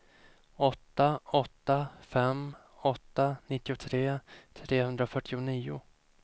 åtta åtta fem åtta nittiotre trehundrafyrtionio